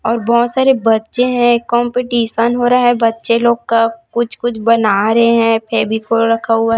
और बहोत सारे बच्चे हैं कॉम्पिटिशन हो रहा है बच्चे लोग का कुछ कुछ बना रहे हैं। फेविकोल रखा हुआ है।